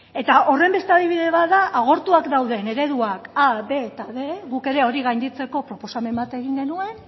eta horren beste adibide bat da agortuak dauden ereduak a b eta bostehun guk ere hori gainditzeko proposamen bat egin genuen